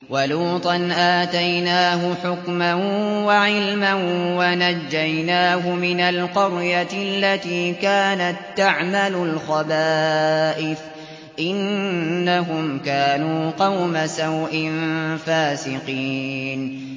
وَلُوطًا آتَيْنَاهُ حُكْمًا وَعِلْمًا وَنَجَّيْنَاهُ مِنَ الْقَرْيَةِ الَّتِي كَانَت تَّعْمَلُ الْخَبَائِثَ ۗ إِنَّهُمْ كَانُوا قَوْمَ سَوْءٍ فَاسِقِينَ